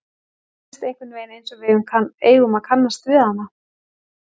Mér finnst einhvern veginn einsog við eigum að kannast við hana.